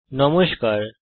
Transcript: নমস্কার বন্ধুগণ